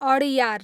Adyar